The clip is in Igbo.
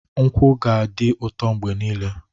Nkwụ ga-adị ụtọ mgbe niile.